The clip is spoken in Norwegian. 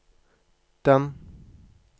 den